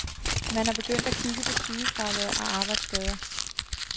Man er begyndt at kigge på sygefravær og arbejdsskader.